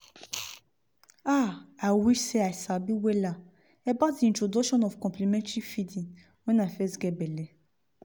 ah i wish seh i sabi wella about introduction of complementary feeding when i fess geh belle